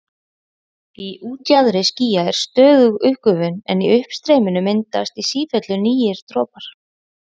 Í útjaðri skýja er stöðug uppgufun en í uppstreyminu myndast í sífellu nýir dropar.